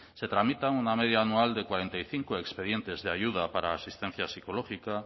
se tramitan una media anual de cuarenta y cinco expedientes de ayuda para la asistencia psicológica